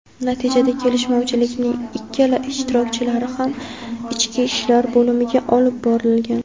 natijada kelishmovchilikning ikkala ishtirokchilari ham ichki ishlar bo‘limiga olib borilgan.